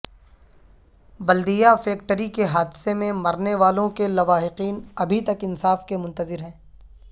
بلدیہ فیکٹری کے حادثے میں مرنے والوں کے لواحقین ابھی تک انصاف کے منتظر ہیں